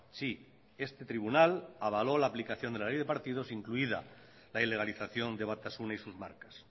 sí este tribunal avaló la aplicación de la ley de partidos incluida la ilegalización de batasuna y sus marcas